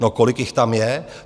No, kolik jich tam je?